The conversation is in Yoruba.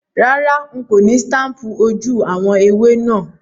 Rárá, n kò ni staple ojú àwon ẹwé náà